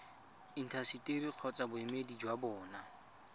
intaseteri kgotsa boemedi jwa bona